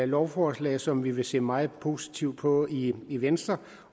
lovforslag som vi vil se meget positivt på i i venstre